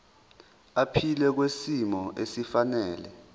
aphile kwisimo esifanele